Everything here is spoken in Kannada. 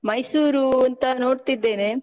ಮೈಸೂರೂ ಅಂತ ನೋಡ್ತಿದ್ದೇನೆ.